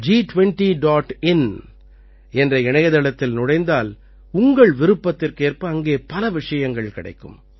in என்ற இணைத்தளத்தில் நுழைந்தால் உங்கள் விருப்பத்திற்கேற்ப அங்கே பல விஷயங்கள் கிடைக்கும்